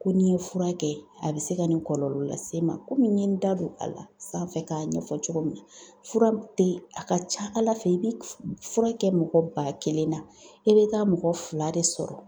Ko n'i ye fura kɛ a bɛ se ka nin kɔlɔlɔ lase n ma. Komi n ye n da don a la sanfɛ k'a ɲɛfɔ cogo min na fura te a ka ca Ala fɛ i be k f fura kɛ mɔgɔ ba kelen na i be taa mɔgɔ fila de sɔrɔ